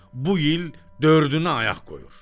Bu il dördünü ayaq qoyur."